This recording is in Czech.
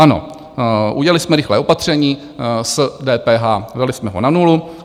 Ano, udělali jsme rychlé opatření s DPH, dali jsme ho na nulu.